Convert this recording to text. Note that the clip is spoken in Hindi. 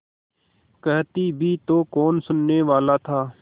कहती भी तो कौन सुनने वाला था